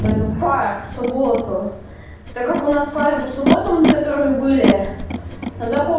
тем более у нас пара в субботу так как у нас пары по субботам которые были закон